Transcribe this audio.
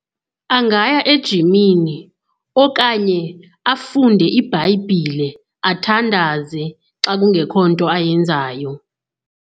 Angaya ejimini okanye afunde iBhayibhile, athandaze xa kungekho nto ayenzayo.